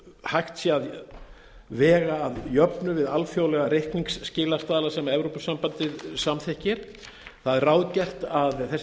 hægt sé að vega að jöfnu við alþjóðlega reikningsskilastaðla sem evrópusambandið samþykkir það er ráðgert að þessi